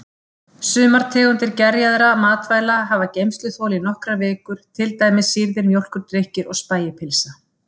Sumar tegundir gerjaðra matvæli hafa geymsluþol í nokkrar vikur, til dæmis sýrðir mjólkurdrykkir og spægipylsa.